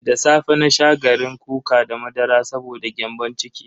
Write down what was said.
Da safe na sha garin kuka da madara saboda gyambon ciki.